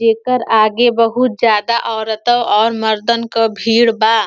एकर आगे बहुत ज्यादा औरतें और मर्दन क भीड़ बा।